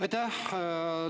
Aitäh!